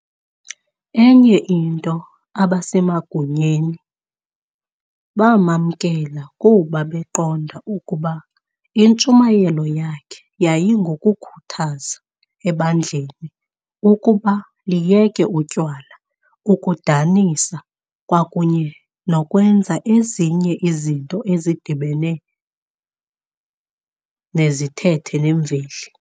Enye into abasemagunyeni bamamkela kuba beqonda ukuba intshumayelo yakhe yayingokukhuthaza ebandleni ukuba liyeke utywala, ukudanisa kwa kunye nokwenza ezinye izinto ezidibene nezithethe nemveli.